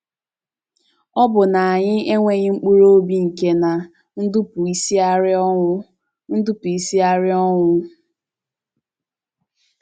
Ọ̀ bụ na anyị enweghị mkpụrụ obi nke na - Ndubuisiarị ọnwụ - Ndubuisiarị ọnwụ?